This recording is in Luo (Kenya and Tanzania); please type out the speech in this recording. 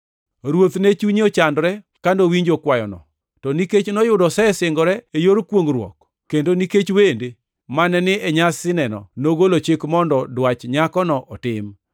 Ruoth ne chunye ochandore ka nowinjo kwayono, to nikech noyudo osesingore e yor kwongʼruok, kendo nikech wende mane ni e nyasineno, nogolo chik mondo dwach nyakono otim,